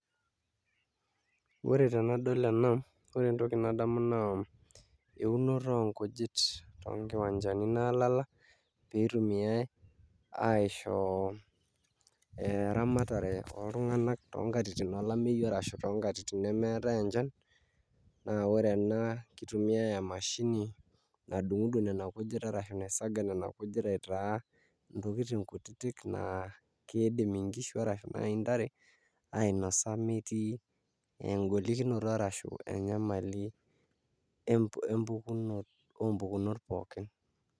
Ore tenadol ena ore entoki nadamu naa eunoto onkujit toonkiwanjani naalala pee itumiai aisho eramatare oltung'anak toonkatitin olameyu arashu toonkatitin nemeetai enchan naa ore ena kitumiai emashini nadungudung nena kujit arashu naisaga nena kujit aitaa ntokitin kutitik naa kiidim nkishu arashu naai ntare ainasa metii engolikonto arashu enyamali oompukunot pookin.